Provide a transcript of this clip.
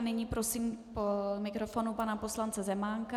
A nyní prosím k mikrofonu pana poslance Zemánka.